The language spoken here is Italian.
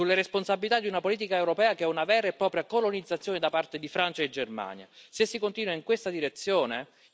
È su questo che bisognerebbe ragionare sulle responsabilità di una politica europea che è una vera e propria colonizzazione da parte di Francia e Germania.